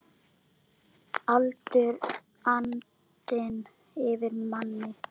Allur andinn yfir manni.